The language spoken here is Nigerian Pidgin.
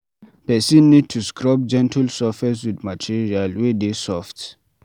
Person need to scrub gentle surface with material wey dey soft